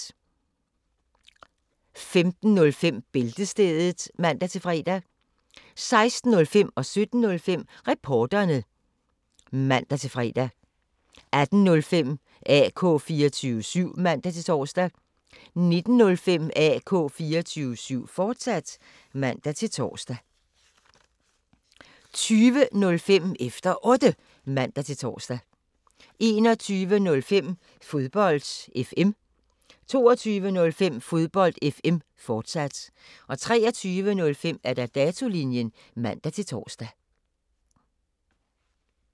15:05: Bæltestedet (man-fre) 16:05: Reporterne (man-fre) 17:05: Reporterne (man-fre) 18:05: AK 24syv (man-tor) 19:05: AK 24syv, fortsat (man-tor) 20:05: Efter Otte (man-tor) 21:05: Fodbold FM 22:05: Fodbold FM, fortsat 23:05: Datolinjen (man-tor)